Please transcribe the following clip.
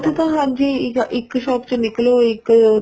ਉੱਥੇ ਤਾਂ ਹਾਂਜੀ ਇੱਕ shop ਚੋ ਨਿੱਕਲੋ ਇੱਕ